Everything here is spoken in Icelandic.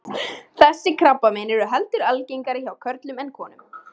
Þessi krabbamein eru heldur algengara hjá körlum en konum.